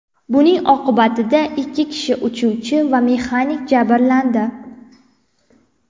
Buning oqibatida ikki kishi uchuvchi va mexanik jabrlandi.